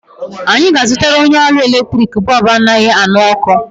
Anyị ga-azụtara onye ọrụ eletrik bọọbụ anaghị aṅụ ọkụ.